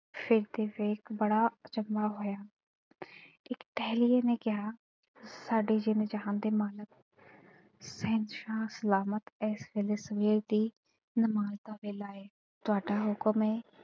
ਸਿਰ ਤੇ ਵੇਖ ਬੜਾ ਅਚੰਭਾ ਹੋਇਆ ਫਿਰ ਟੇਹਲ਼ੀਏ ਨੇ ਕਿਹਾ ਸਾਡੇ ਜਿੰਦ ਜਹਾਨ ਦੇ ਮਾਲਕ, ਸ਼ਹਿਨਸ਼ਾਹ ਸਲਾਮਤ ਏਸ ਵੇਲੇ ਸਵੇਰ ਦੀ ਨਮਾਜ਼ ਦਾ ਵੇਲਾ ਏ। ਤੁਹਾਡਾ ਹੁਕਮ ਐ।